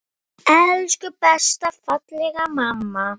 Af ást skal blíðuna bjóða.